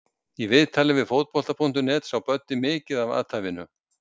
Í viðtali við Fótbolta.net sá Böddi mikið eftir athæfinu.